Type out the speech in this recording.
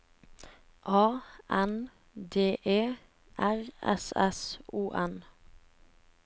A N D E R S S O N